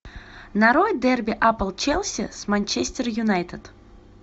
нарой дерби апл челси с манчестер юнайтед